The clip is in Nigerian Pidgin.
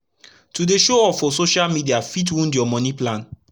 to dey show off for social media fit wound ur moni plan